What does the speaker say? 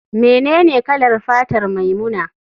Menene kalar fatar maimuna?